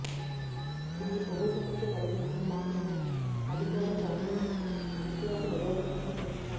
ఇది కొవ్వు సమస్య తొలగిస్తుంది మాత్రమే అది కూడా రంగు జుట్టు యొక్క నిరోధకతను పెంచుతుంది